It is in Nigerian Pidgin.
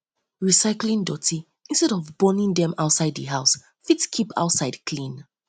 recycling doti instead of burning dem outside the house fit keep outside clean